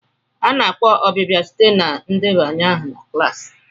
A na-akpọ ọbịbịa site na ndebanye aha klaasị.